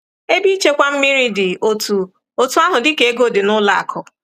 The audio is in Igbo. Ebe ịchekwa mmiri dị otú otú ahụ dịka ego dị n’ụlọ akụ̀.